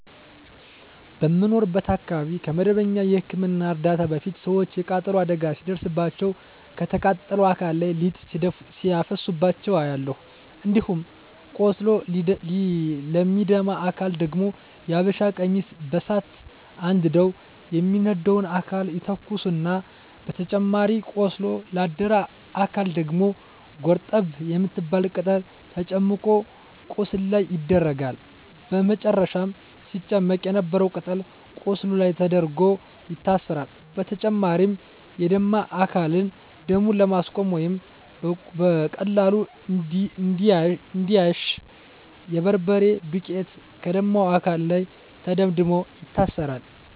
በምኖርበት አካባቢ ከመደበኛ የህክምና እርዳታ በፊት ሰወች የቃጠሎ አደጋ ሲደርስባቸው ከተቃጠለው አካል ላይ ሊጥ ሲያፈሱባቸው አያለሁ። እንዲሁም ቆስሎ ለሚደማ አካል ደግሞ የሀበሻ ቀሚስ በሳት አንድደው የሚደማውን አካል ይተኩሳሉ በተጨማሪም ቆስሎ ላደረ አካል ደግሞ ጎርጠብ የምትባል ቅጠል ተጨምቆ ቁስሉ ላይ ይደረጋል በመጨረም ሲጨመቅ የነበረው ቅጠል ቁስሉ ላይ ተደርጎ ይታሰራል። በተጨማሪም የደማ አካልን ደሙን ለማስቆመረ ወይም በቀላሉ እንዲያሽ የበርበሬ ዱቄት ከደማው አካል ላይ ተደምድሞ ይታሰራል።